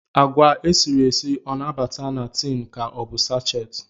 Agwa esiri esi o na-abata na tin ka ọ bụ sachet